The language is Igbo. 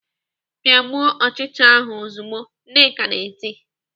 "Pịagbuo ọchịcha ahụ ozugbo!" Nneka na-eti.